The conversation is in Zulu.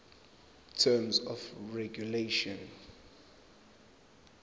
terms of regulation